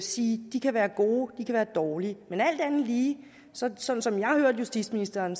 sige at de kan være gode eller dårlige men alt andet lige sådan som som jeg hørte justitsministeren